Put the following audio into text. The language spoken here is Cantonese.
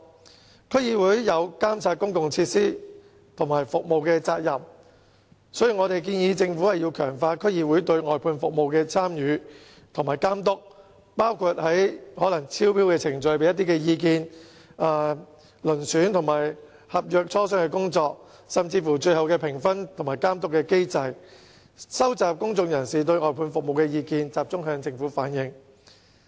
鑒於區議會有監察公共設施和服務的責任，因此我們建議政府強化區議會對外判服務的參與和監督，包括可能在招標過程中提供意見，以及參與遴選合約和磋商合約，以至最後評分和監督機制等工作，以及收集公眾人士對外判服務的意見，並集中向政府反映。